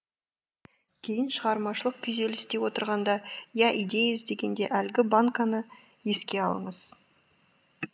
кейін шығармашылық күйзелісте отырғанда я идея іздегенде әлгі банканы еске алыңыз